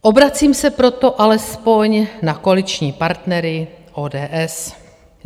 Obracím se proto alespoň na koaliční partnery ODS.